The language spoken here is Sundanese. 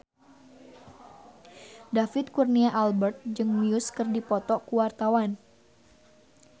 David Kurnia Albert jeung Muse keur dipoto ku wartawan